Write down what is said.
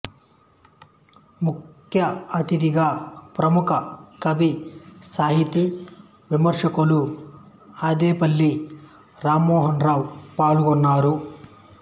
ముఖ్య అథిదిగా ప్రముఖ కవి సాహితీ విమర్శకులు అద్దేపల్లి రామమోహనరావు పాల్గొన్నారు